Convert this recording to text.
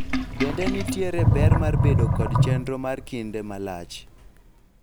bende nitiere ber mar bedo kod chenro mar kinde malach ?